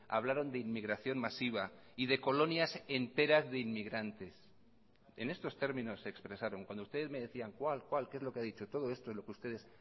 hablaron de inmigración masiva y de colonias enteras de inmigrantes en estos términos se expresaron cuando ustedes me decían cuál cuál qué es lo que ha dicho todo esto es lo que ustedes